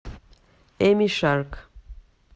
эми шарк